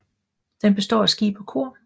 Den består af skib og kor